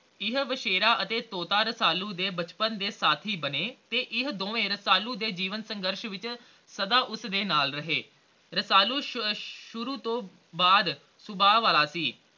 ਇਹ ਵਛੇਰਾ ਅਤੇ ਤੋਤਾ ਰਸਾਲੂ ਦੇ ਬਚਪਨ ਦੇ ਸਾਥੀ ਬਣੇ ਤੇ ਇਹ ਦੋਵੇ ਰਸਾਲੂ ਦੇ ਜੀਵਨ ਸੰਗਰਸ਼ ਵਿਚ ਸਦਾ ਉਸਦੇ ਨਾਲ ਰਹੇ ਰਸਾਲੂ ਸ਼ੁਰੂ ਤੋਂ ਬਾਅਦ ਸੁਬਾਹ ਵਾਲਾ ਸੀ l